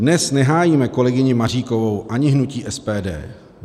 Dnes nehájíme kolegyni Maříkovou ani hnutí SPD.